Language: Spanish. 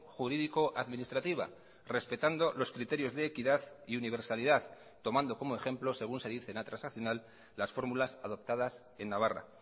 jurídico administrativa respetando los criterios de equidad y universalidad tomando como ejemplo según se dice en la transaccional las fórmulas adoptadas en navarra